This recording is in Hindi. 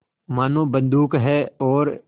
मानो बंदूक है और